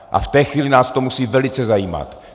A v té chvíli nás to musí velice zajímat.